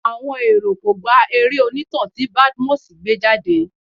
Àwọn èrò kò gba eré onítàn tí Badmus gbé jáde.